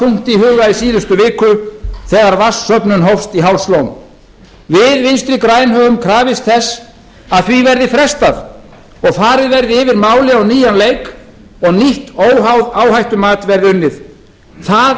þungt í síðustu viku þegar vatnssöfnun hófst í hálslón við vinstri græn höfum krafist þess að því verði frestað og farið verði yfir málið á nýjan leik og nýtt óháð áhættumat verði unnið það